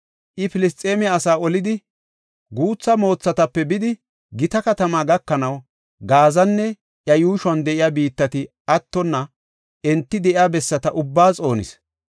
I, Filisxeeme asaa olidi guutha moothatape bidi, gita katama gakanaw, Gaazanne iya yuushon de7iya biittati attonna enti de7iya bessata ubbaa xoonis.